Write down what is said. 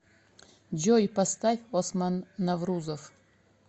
джой поставь осман наврузов